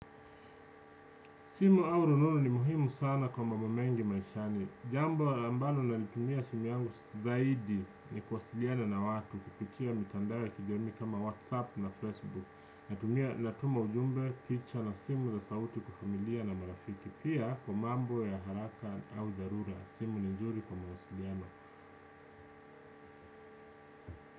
Simu au rununu ni muhimu sana kwa mambo mengi maishani. Jambo ambalo nalitumia simu yangu zaidi ni kuwasiliana na watu kupitia mitandao ya kijamii kama WhatsApp na Facebook. Natumia natuma ujumbe, picha na simu za sauti kwa familia na marafiki. Pia kwa mambo ya haraka au dharura simu ni nzuri kwa mawasiliano.